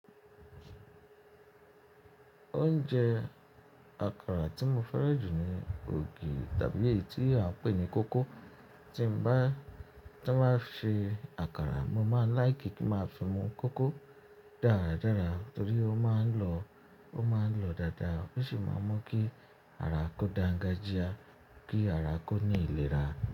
Oúnjẹ àkàrà tí mo fẹ́ràn jù ni ògì tàbí èyí tí a ń pè ní kókó. Tí n bá, tí wọ́n bá ń ṣe àkàrà, mo máa láì kí kí máa fi mu kókó dáradára torí ó máa ń lọ, ó máa ń lọ dáadáa oṣi máa mú kí ara kó da gajịa, kí ara kó ní ìlera.